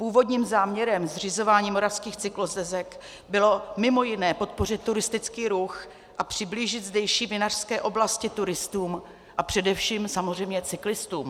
Původním záměrem zřizování moravských cyklostezek bylo mimo jiné podpořit turistický ruch a přiblížit zdejší vinařské oblasti turistům a především samozřejmě cyklistům.